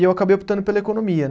e eu acabei optando pela economia, né?